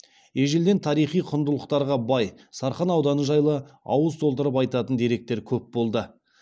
ежелден тарихи құндылықтарға бай сарқан ауданы жайлы ауыз толтырып айтатын деректер көп болды